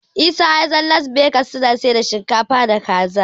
Isa ya san Las Begas suna siyar da dafadukan shinkafa da Kaza.